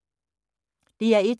DR1